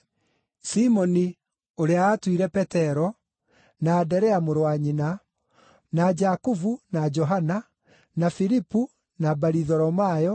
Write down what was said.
Simoni (ũrĩa aatuire Petero), na Anderea mũrũ wa nyina, na Jakubu, na Johana, na Filipu, na Baritholomayo,